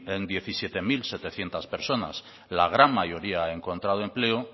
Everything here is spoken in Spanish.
en diecisiete mil setecientos personas la gran mayoría ha encontrado empleo